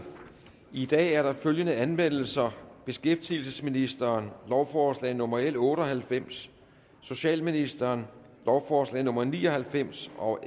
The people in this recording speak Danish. i dag er der følgende anmeldelser beskæftigelsesministeren lovforslag nummer l otte og halvfems socialministeren lovforslag nummer l ni og halvfems og